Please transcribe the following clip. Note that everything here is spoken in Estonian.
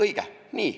Õige!